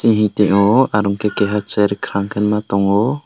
ehi teyo aro khe keha chair khama khe tango.